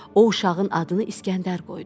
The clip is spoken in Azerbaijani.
O uşağın adını İsgəndər qoydu.